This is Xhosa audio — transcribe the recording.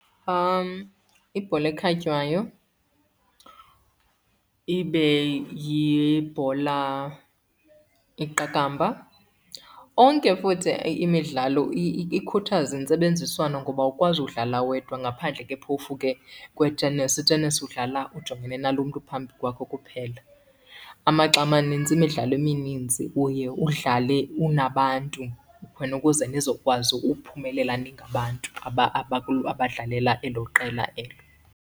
Ibhola ekhatywayo, ibe yibhola iqakamba. Onke futhi imidlalo ikhuthaza intsebenziswano ngoba awukwazi udlala wedwa ngaphandle ke phofu ke kwe-tennis. I-tennis udlala ujongene nalo mntu uphambi kwakho kuphela. Amaxa amanintsi imidlalo eminintsi uye udlale unabantu khona ukuze nizokwazi uphumelela ningabantu abadlalela elo qela elo.